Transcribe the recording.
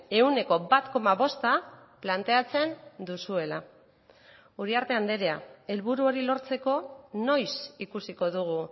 ehuneko bat koma bosta planteatzen duzuela uriarte andrea helburu hori lortzeko noiz ikusiko dugu